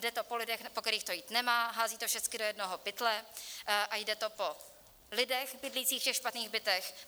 Jde to po lidech, po kterých to jít nemá, hází to všecky do jednoho pytle a jde to po lidech bydlících v těch špatných bytech.